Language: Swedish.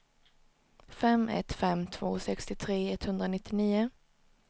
fem ett fem två sextiotre etthundranittionio